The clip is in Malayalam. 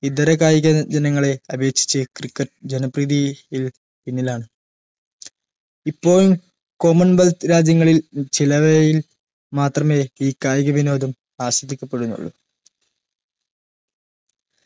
ഇതര കായിക ദിനങ്ങളെ അപേക്ഷിച്ച്‌ cricket jana preethi യിൽ പിന്നിലാണ് ഇപ്പോൾ commonwealth രാജ്യങ്ങളിൽ ചിലവയിൽ മാത്രമേ ഈ ഗജയിക കായിക വിനോദം ആസ്വദിക്കപ്പെടുന്നുള്ളു